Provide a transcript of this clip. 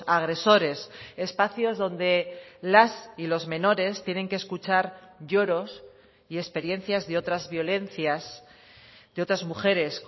agresores espacios donde las y los menores tienen que escuchar lloros y experiencias de otras violencias de otras mujeres